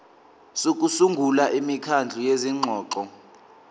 sokusungula imikhandlu yezingxoxo